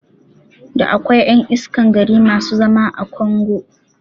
Da akwai ƴan iskan gari masu zama a kongo